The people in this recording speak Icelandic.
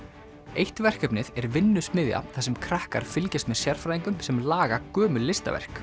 eitt verkefnið er vinnusmiðja þar sem krakkar fylgjast með sérfræðingum sem laga gömul listaverk